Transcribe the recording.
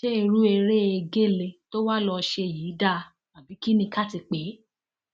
ṣé irú eré egéle tó wàá lọọ ṣe yìí dáa ni àbí kín ni ká ti pè é